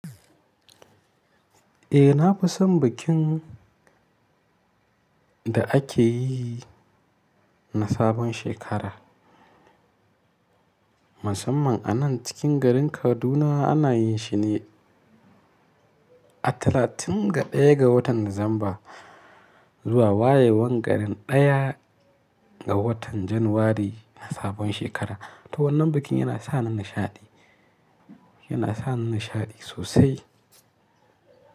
Eh na fi son bikin da ake yi na sabon shekara. Musamman a nan cikin garin Kaduna ana yin shi ne a talatin ga ɗaya ga watan Dicember zuwa wayewan garin ɗaya ga watan January na sabon shekara. To wannan bikin yana sa ni nishaɗi, yana sa ni nishaɗi sosai.